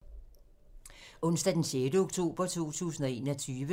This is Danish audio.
Onsdag d. 6. oktober 2021